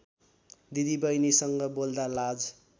दिदीबहिनीसँग बोल्दा लाज